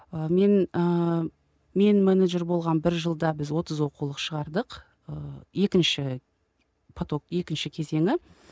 ы мен ы мен менеджер болған бір жылда біз отыз оқулық шығардық ыыы екінші поток екінші кезеңі